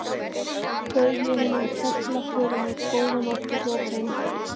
Bauð ég hinum þögula förunaut: Góða nótt og hljóp heim.